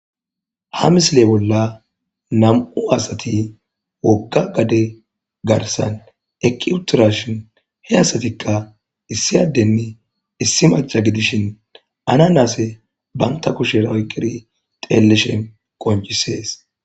ha misile bolla nam7u asati wogga gade garsan eqi utidashin he asatikka issiyadenni issi macha gidishin ana naase banta kushera oyqqiri teeleshen qoncisees